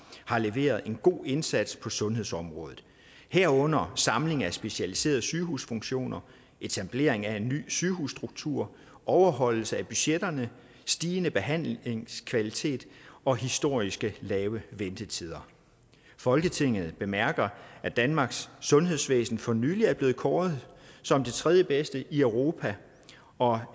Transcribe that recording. har leveret en god indsats på sundhedsområdet herunder samling af specialiserede sygehusfunktioner etablering af en ny sygehusstruktur overholdelse af budgetterne stigende behandlingskvalitet og historisk lav ventetid folketinget bemærker at danmarks sundhedsvæsen for nylig blev kåret som det tredjebedste i europa og